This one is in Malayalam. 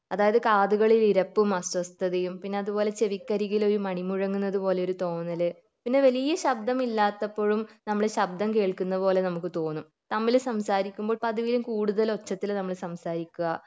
അതായത് കാതുകളിൽ ഇരപ്പും അസ്വസ്ഥതയും പിന്നെ അതുപോലെ ചെവിക്കരികിൽ ഒരു മണി മുഴങ്ങുന്നത് പോലെ ഒരു തോന്നൽ പിന്നെ വലിയ ശബ്ദം ഇല്ലാത്തപ്പോഴും നമ്മൾ ശബ്ദം കേൾക്കുന്ന പോലെ നമുക്ക് തോന്നും തമ്മിൽ സംസാരിക്കുമ്പോ പതിവിലും കൂടുതൽ ഒച്ചത്തിൽ നമ്മൾ സംസാരിക്ക